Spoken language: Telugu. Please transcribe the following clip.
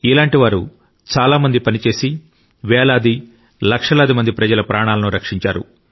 ఇలాంటి వారు చాలా మంది పనిచేసి వేలాది లక్షలాది మంది ప్రజల ప్రాణాలను రక్షించారు